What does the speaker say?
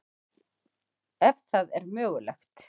Ef það er mögulegt.